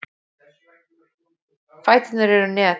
Fæturnir eru net.